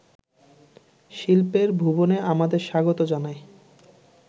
শিল্পের ভুবনে আমাদের স্বাগত জানায়